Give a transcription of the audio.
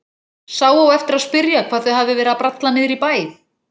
Sá á eftir að spyrja hvað þau hafi verið að bralla niðri í bæ.